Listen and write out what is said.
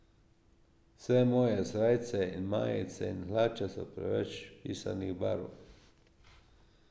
Vse moje srajce in majice in hlače so preveč pisanih barv.